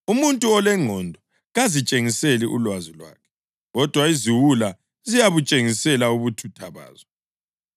Umuntu olengqondo kazitshengiseli ulwazi lwakhe, kodwa iziwula ziyabutshengisela ubuthutha bazo.